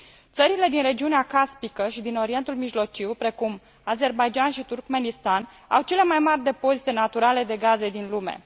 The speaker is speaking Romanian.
Țările din regiunea caspică și din Orientul Mijlociu, precum Azerbaidjan și Turkmenistan, au cele mai mari depozite naturale de gaze din lume.